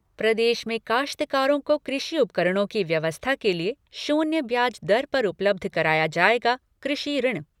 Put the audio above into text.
प्रदेश में काश्तकारों को कृषि उपकरणों की व्यवस्था के लिए शून्य ब्याज दर पर उपलब्ध कराया जाएगा कृषि ऋण।